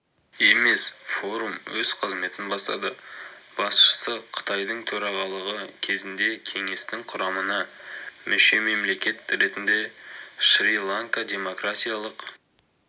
емес форум өз қызметін бастады басшысы қытайдың төрағалығы кезінде кеңестің құрамына мүше-мемлекет ретінде шри-ланка демократиялық